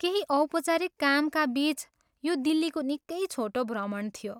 केही औपचारिक कामका बिच यो दिल्लीको निकै छोटो भ्रमण थियो।